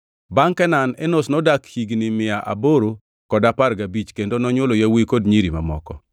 Bangʼ Kenan, Enosh nodak higni mia aboro kod apar gabich kendo nonywolo yawuowi kod nyiri mamoko.